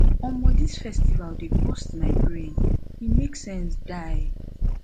omo dis festival dey burst my brain e make sense die